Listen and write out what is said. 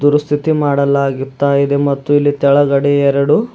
ಸ್ಥಿತಿ ಮಾಡಲಾಗುತ್ತಾ ಇದೆ ಮತ್ತು ಇಲ್ಲಿ ಕೆಳಗಡೆ ಎರಡು--